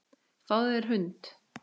Fáðu þér hund.